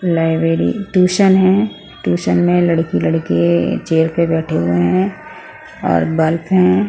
Library tuition है tuition में लड़की लड़के चेयर पे बैठे हुए हैं और बर्फ है ।